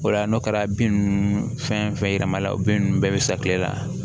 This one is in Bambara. O la n'o kɛra bin nunnu fɛn fɛn yɛlɛma la o bin nunnu bɛɛ be sa kile la